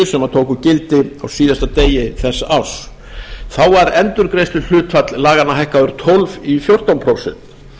gildi á síðasta degi þess árs þá var endurgreiðsluhlutfall laganna hækkað úr tólf prósent í fjórtán prósent